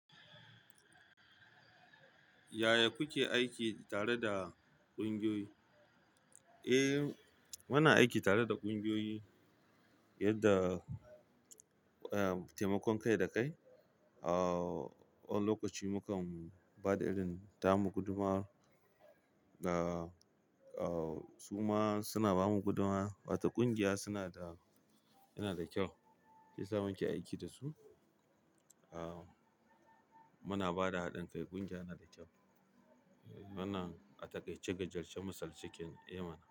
Yaya kuke aiki tare da ƙungiyoyi? Eh, muna aiki tare da ƙungiyoyi yadda, eh, taimakon kai da kai, uh, wani lokaci mukan ba da irin, ta mu gudumar, da, uh, su ma suna ba mu gudummawa. Wata ƙungiya suna da, yana da kyau, shiyasa muke aiki da su. Muna ba da haɗin kai, ƙungiya yana da kyau. Muna atakaiyce misalce ey mana.